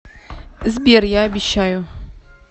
сбер я обещаю